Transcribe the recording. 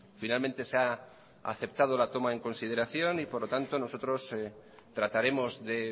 finalmente se ha aceptado la toma en consideración y por lo tanto nosotros trataremos de